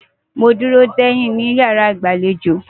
ma duro deyin ni iyara igbalejo.